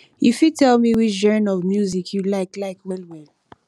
you fit tell me which genre of music you like like well well